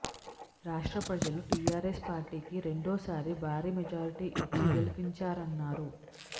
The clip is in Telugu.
రాష్ట్ర ప్రజలు టిఆర్ఎస్ పార్టీకి రెండో సారి భారీ మెజార్టీ ఇచ్చి గెలిపించారన్నారు